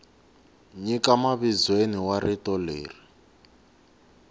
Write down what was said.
nyika mavizweni wa rito leri